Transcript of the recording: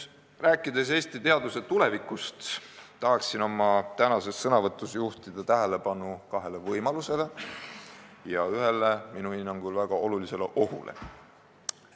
Rääkides Eesti teaduse tulevikust, tahan oma tänases sõnavõtus juhtida tähelepanu kahele võimalusele ja ühele minu hinnangul väga olulisele ohule.